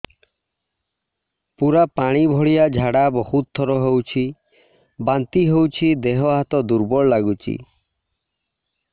ପୁରା ପାଣି ଭଳିଆ ଝାଡା ବହୁତ ଥର ହଉଛି ବାନ୍ତି ହଉଚି ଦେହ ହାତ ଦୁର୍ବଳ ଲାଗୁଚି